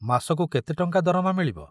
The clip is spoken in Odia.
ମାସକୁ କେତେ ଟଙ୍କା ଦରମା ମିଳିବ?